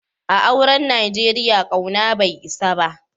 A'auren Nijeriya, kauna bai isa ba.